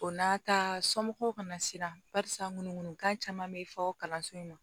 O n'a ta somɔgɔw kana siran barisa munkan caman be fɔ kalanso in na